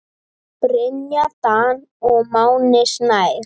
Brynja Dan og Máni Snær.